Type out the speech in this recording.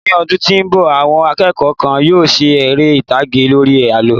mi ọdún tí nbọ, àwọn akẹ́kọ̀ọ́ kan yíò ṣe ere itage lori àlọ